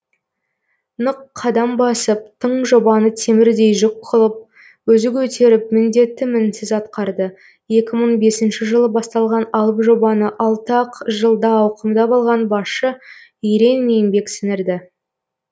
нық қадам басып тың жобаны темірдей жүк қылып өзі көтеріп міндетті мінсіз атқарды екі мың бесінші жылы басталған алып жобаны алты ақ жылда ауқымдап алған басшы ерен еңбек сіңірді